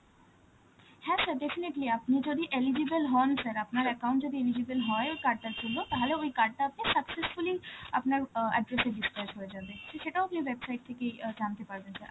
হ্যাঁ sir definitely, আপনি যদি eligible হন, sir account যদি eligible হয় ওই card টার জন্য. তাহলে ওই card টাতে successfully আপনার অ্যাঁ address এ dispatch হয়ে যাবে, সে~ সেটা গিয়ে website থেকেই অ্যাঁ জানতে পারবেন sir,